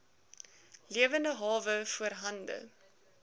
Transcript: lewende hawe voorhande